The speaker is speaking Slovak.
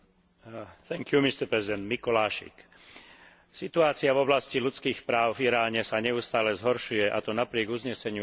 Situácia v oblasti ľudských práv v Iráne sa neustále zhoršuje, a to napriek uzneseniu Európskeho parlamentu z